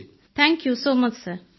thank you so much sir